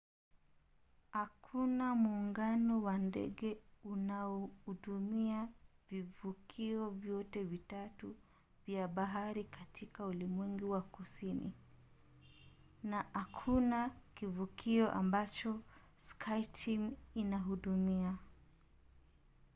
hakuna muungano wa ndege unaohudumia vivukio vyote vitatu vya bahari katika ulimwengu wa kusini na hakuna kivukio ambacho skyteam inahudumia